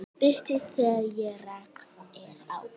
Birtist þegar rakt er á.